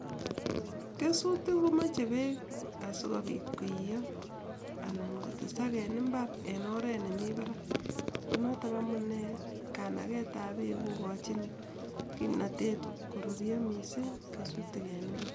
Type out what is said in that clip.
Kesutik komeche bek asikobit koiyo anan kotesak en imbar en oret nemi barak notok amunee kandeet ab bek kokochin kururyo [missing] en imbar